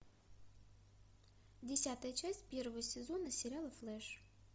десятая часть первого сезона сериала флэш